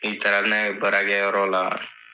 N'i taara n'a ye bara kɛ yɔrɔ la